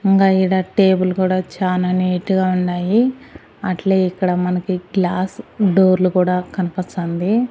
ఇంకా ఈడ టేబుల్ కూడా చానా నీట్ గా ఉన్నాయి అట్లే ఇక్కడ మనకి గ్లాస్ డోర్ లు కూడా కనపస్తోంది.